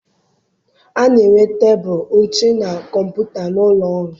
A na-enwe tebụl, oche, na kọmputa n'ụlọ ọrụ.